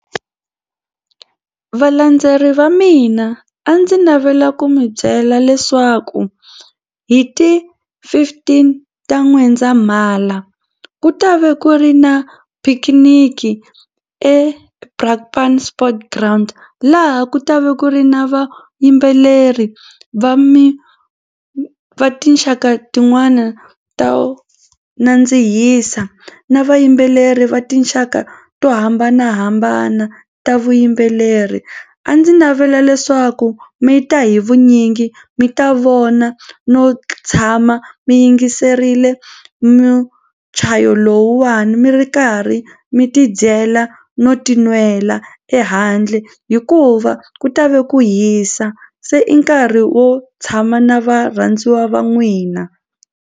Valandzeleri va mina a ndzi navela ku mi byela leswaku hi ti fifteen ta N'wendzamhala ku ta va ku ri na phikiniki sport ground laha ku ta va ku ri na vayimbeleri va mi va tinxaka tin'wana to nandzihisa na vayimbeleri va tinxaka to hambanahambana ta vuyimbeleri. A ndzi navela leswaku mi ta hi vunyingi mi ta vona no tshama mi yingiserile muchayo lowuwani mi ri karhi mi tidyela no tinwela ehandle hikuva ku ta ve ku hisa se i nkarhi wo tshama na varhandziwa va n'wina.